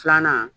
Filanan